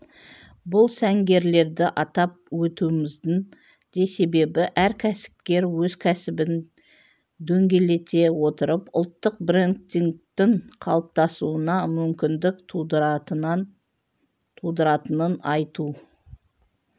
бұл сәнгерлерді атап өтуіміздің де себебі әр кәсіпкер өз кәсібін дөңгелете отырып ұлттық брендингтің қалыптасуына мүмкіндік тудыратынын айту